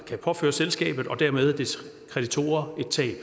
kan påføre selskabet og dermed dets kreditorer et tab